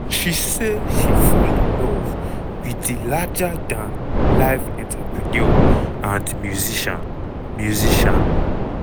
she say she "fall in love" with di "larger-dan-life entrepreneur and musician". musician".